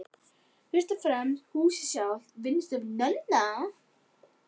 Fyrst og fremst húsið sjálft, vinnustofu Nonna